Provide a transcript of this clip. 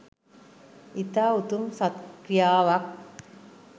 ඉතා උතුම් සත් ක්‍රියාවක්